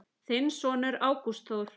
Þinn sonur, Ágúst Þór.